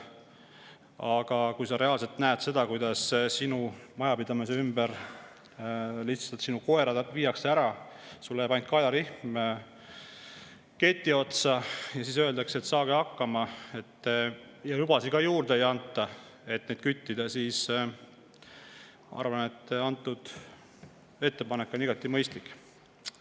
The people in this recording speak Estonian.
Aga kui sa reaalselt näed, kuidas su majapidamise ümbert su koerad lihtsalt ära viiakse, sulle jääb ainult kaelarihm keti otsa, ja siis öeldakse, et saage hakkama, ning küttimiseks lubasid ka juurde ei anta, siis ma arvan, et antud ettepanek on igati mõistlik.